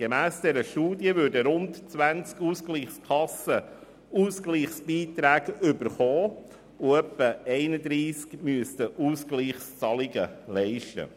Gemäss dieser Studie würden rund 20 Ausgleichskassen Ausgleichsbeiträge erhalten, und etwa 31 Kassen müssten Ausgleichszahlungen leisten.